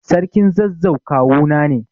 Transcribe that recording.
Sarkin zazzau kawuna ne.